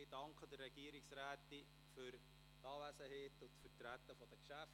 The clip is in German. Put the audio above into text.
Ich danke der Regierungsrätin für die Anwesenheit und für das Vertreten der Geschäfte.